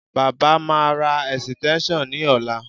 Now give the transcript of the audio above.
Baba máa ra ẹ̀sìtẹ́ńṣọ̀n ní ọ̀la